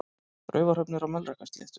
Raufarhöfn er á Melrakkasléttu.